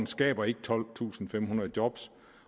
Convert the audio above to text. skaber ikke tolvtusinde og femhundrede job